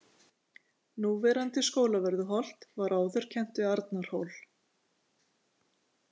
Núverandi Skólavörðuholt var áður kennt við Arnarhól.